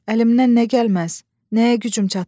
Əlimdən nə gəlməz, nəyə gücüm çatmaz?